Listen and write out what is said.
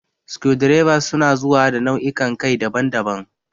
Screwdrivers su na zuwa da nau'ikan kai daban-daban.